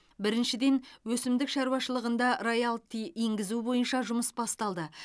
біріншіден өсімдік шаруашылығында роялти енгізу бойынша жұмыс басталды